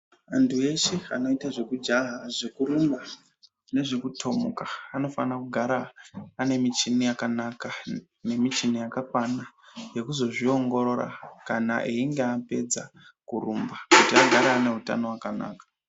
Vanthu veshe vanoite zvekujaha zvekurumba nezvekutomuka vanofanira kugara vane michini yakanaka nemichini yakakwana yekuzozviongorora kana einge apedza kurumba kuti agare ane utano hwakanaka.